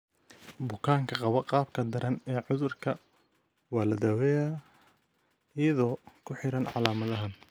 Bukaanka qaba qaabka daran ee cudurka waa la daaweeyaa iyadoo ku xiran calaamadaha.